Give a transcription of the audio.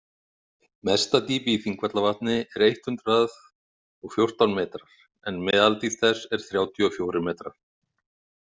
Mesta dýpi í Þingvallavatni er eitt hundruð og fjórtán metrar en meðaldýpt þess er þrjátíu og fjórir metrar.